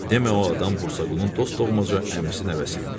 Demə o adam Musa Qulun dost doğmaca əmisi nəvəsi imiş.